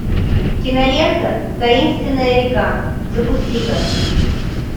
кинолента таинственная река запусти ка